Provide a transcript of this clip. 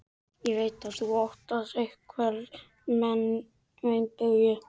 Ég veit að þú óttast einhverja meinbugi.